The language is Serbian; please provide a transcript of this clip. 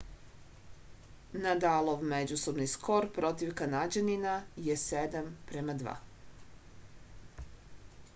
nadalov međusobni skor protiv kanađanina je 7-2